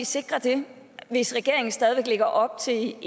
sikre det hvis regeringen stadig væk lægger op til